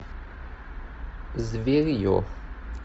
зверье